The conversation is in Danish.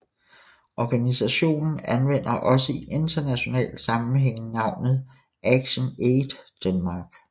Organisationen anvender også i internationale sammenhænge navnet ActionAid Denmark